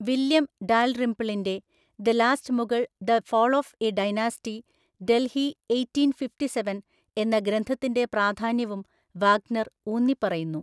William ഡാൽറിംപിളിന്‍റെ 'the last Mughal the fall of a dynasty, Delhi eighteen‍ fifty seven‍' എന്ന ഗ്രന്ഥത്തിന്‍റെ പ്രാധാന്യവും വാഗ്നർ ഊന്നിപ്പറയുന്നു.